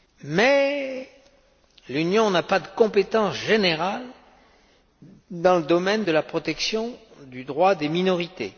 Mais l'Union n'a pas de compétences générales dans le domaine de la protection du droit des minorités.